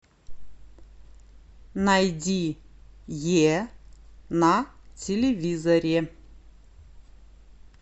найди е на телевизоре